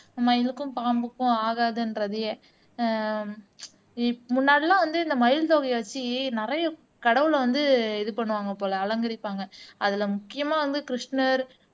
மயிலுக்கும் பாம்புக்கும் ஆகாதுன்றதையே ஆஹ் இப் முன்னாடியெல்லாம் வந்து இந்த மயில் தொகையை வச்சு நிறைய கடவுளை வந்து இது பண்ணுவாங்க போல அலங்கரிப்பாங்க அதுல முக்கியமா வந்து கிருஷ்ணர்